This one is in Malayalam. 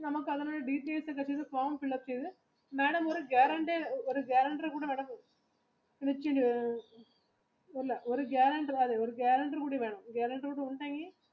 നമ്മക്ക് അതിൽ details ഒക്കെ fill up ചെയ്ത് form ഒക്കെ fill up ചെയ്ത് madam ഒരു വേണം